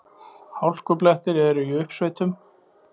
Hálkublettir eru í uppsveitum